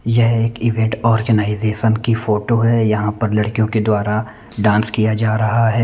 यह एक event organisation की फोटो है यहाँ पर लड़कियों के द्वारा डांस किया जा रहा है।